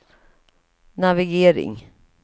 navigering